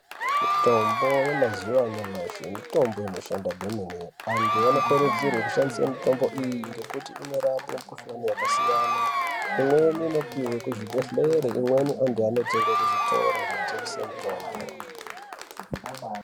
Mitombo yemazuwa anyamashi mitombo inoshanda kwemene anthu anokurudzirwa kushandisa mitombo iyi ngekuti inorape mikuhlani yakasiyana imweni inopihwe kuzvibhedhleri imweni anthu anotenge kuzvitoro zvinotengesa mitombo.